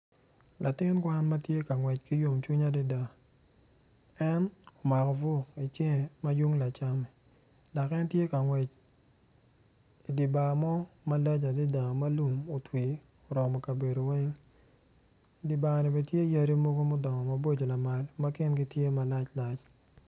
Latin kwan ma tye ka ngwec ki yomcwiny adada kiketogi kun jami man tye ma kiketogi i ot mading adada kun i kin jami magi tye odero ma kicweyo acweya med ki aditi bene ma kicweyo .